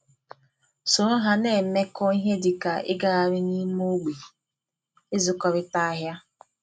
soro ha na-emekọ ihe dịka ịgagharị n'ime ogbe, ịzụkọrịta ahịa,